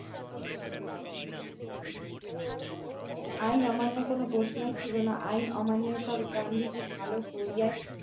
আইন অমান্যের কোন প্রশ্নই ছিল না আইন অমান্য স্বরূপ গান্ধীজী ভালো করিয়া